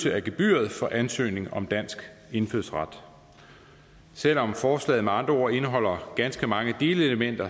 af gebyret for ansøgning om dansk indfødsret selv om forslaget med andre ord indeholder ganske mange delelementer